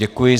Děkuji.